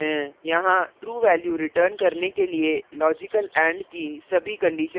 यहाँ true value return करने के लिए logical and की सभी conditions true होनी चाहिए